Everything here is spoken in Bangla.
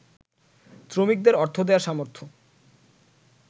শ্রমিকদের অর্থ দেয়ার সামর্থ্য